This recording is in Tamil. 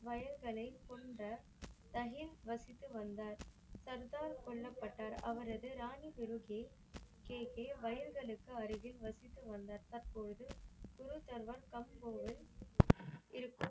வயல்களை கொண்ட தனியே வசித்து வந்தார். சர்தார் கொல்லப்பட்டார். அவரது ராணி துருக்கே கே கே வயல்களுக்கு அருகில் வசித்து வந்தார் தற்பொழுது குருட்டல்வன் தம் ஒருவன் இருக்கும்.